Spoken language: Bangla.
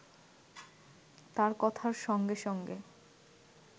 তার কথার সঙ্গে সঙ্গে